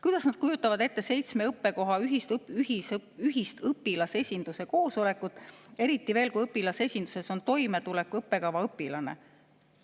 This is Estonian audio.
Kuidas nad kujutavad ette seitsme õppekoha ühist õpilasesinduse koosolekut, eriti veel, kui õpilasesinduses on toimetuleku õppekava õpilased?